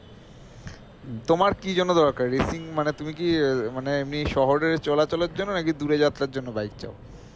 তোমার কি জন্য দরকার refill মানে তুমি কি আহ মানে এমনি শহরে চলা চলের জন্য নাকি দূরে যাত্রার জন্য bike চাও?